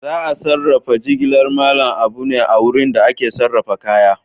Za a sarrafa jigilar Mallam Abu ne a wurin da ake sarrafa kaya.